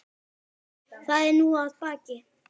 Það er nú að baki.